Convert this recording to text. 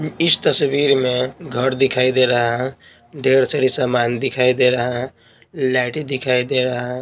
इस तस्वीर में घर दिखाई दे रहा है ढेर सारी सामान दिखाई दे रहा है लाइट दिखाई दे रहा है।